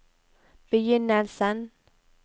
begynnelsen